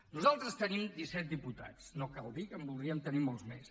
nosaltres tenim disset diputats no cal dir que en voldríem tenir molts més